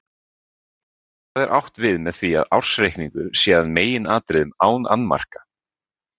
Hvað er átt við með því að ársreikningur sé að meginatriðum án annmarka?